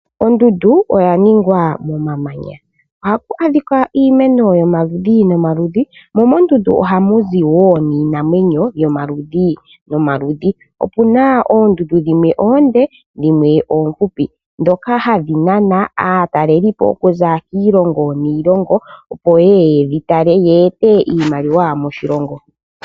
Ondundu oya ningwa momamanya ohapu adhika iimeno yomaludhi nomaludhi mo mondundu ohamu zi wo iinamwenyo yomaludhi nomaludhi. Opu na oondundu dhimwe oonde dhimwe oofupi ndhoka hadhi nana aatalelipo okuza kiilongo niilongo, opo ye ye ye dhi tale ye ete iimaliwa moshilongo.